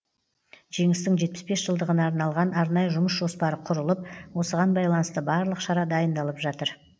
жеңістің жетпіс бес жылдығына арналған арнайы жұмыс жоспары құрылып осыған байланысты барлық шара дайындалып жатыр